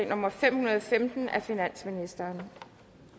nummer fem hundrede og femten af finansministeren